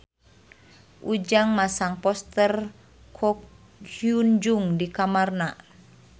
Ujang masang poster Ko Hyun Jung di kamarna